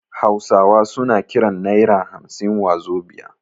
Hausawa suna kiran naira hamsin wazobia